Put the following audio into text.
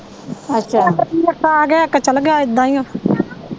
ਇੱਕ ਆਗਿਆ ਇੱਕ ਚਲਗਿਆ ਏਦਾਂ ਈਓ।